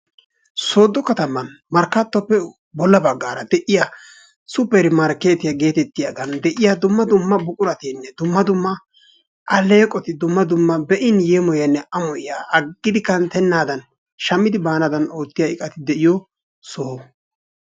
Sodo kataman markkaattoppe bolla baggaara de'iya supper markkeetiya geetettiyogan de'iya dumma buquratinne dumma dumma alleeqoti dumma dumma be'in yeemoyiyanne amoyiya aggidi kanttennaadan shammidi baanaadan oottiya iqati de'iyo soho.